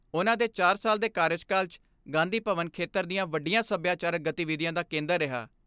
ਉਨ੍ਹਾਂ ਦੇ ਚਾਰ ਸਾਲ ਦੇ ਕਾਰਜਕਾਲ 'ਚ ਗਾਂਧੀ ਭਵਨ ਖੇਤਰ ਦੀਆਂ ਵੱਡੀਆਂ ਸਭਿਆਚਾਰਕ ਗਤੀਵਿਧੀਆਂ ਦਾ ਕੇਂਦਰ ਰਿਹਾ।